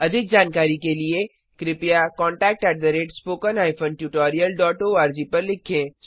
अधिक जानकारी के लिए कृपया contact at spoken hyphen tutorial dot ORG पर लिखें